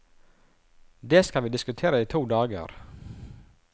Det skal vi diskutere i to dager.